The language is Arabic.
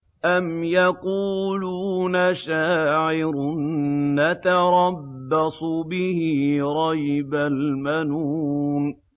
أَمْ يَقُولُونَ شَاعِرٌ نَّتَرَبَّصُ بِهِ رَيْبَ الْمَنُونِ